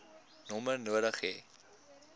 nommer nodig hê